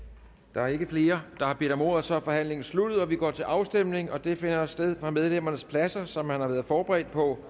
der er ikke flere der har bedt om ordet og så er forhandlingen sluttet vi går til afstemning og den finder sted fra medlemmernes pladser sådan som man har været forberedt på